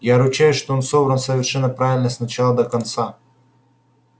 я ручаюсь что он собран совершенно правильно с начала до конца